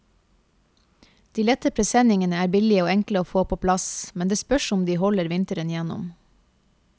De lette presenningene er billige og enkle å få på plass, men det spørs om de holder vinteren gjennom.